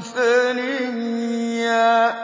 فَرِيًّا